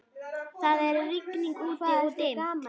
Það er rigning úti-og dimmt.